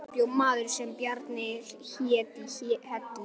Þar bjó maður sem Bjarni hét í Hellu